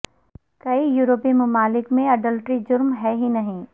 کئی یورپی ممالک میں اڈلٹری جرم ہے ہی نہیں